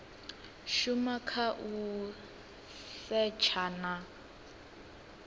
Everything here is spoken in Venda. shuma kha u setsha na